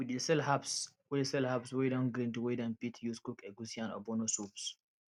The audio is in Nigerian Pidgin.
we dey sell herbs wey sell herbs wey don grind wey dem fit use cook egusi and ogbono soups